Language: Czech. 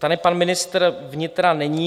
Tady pan ministr vnitra není.